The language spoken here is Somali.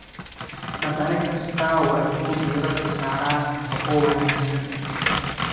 Dhaqane kasta waa inuu diirada saaraa nafaqo wanaagsan.